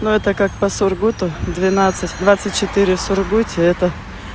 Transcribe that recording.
но это как по сургуту двенадцать двадцать четыре в сургуте это